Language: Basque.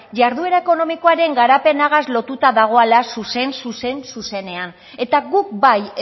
jarduera ekonomikoaren garapenagaz lotuta dagala zuzen zuzen zuenean eta guk bai